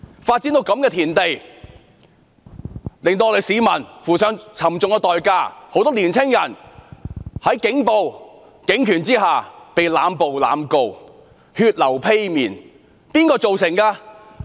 事態發展至這地步，市民付上沉重代價，很多青年人在警暴及警權下被濫捕和濫告，他們血流披面是誰造成的？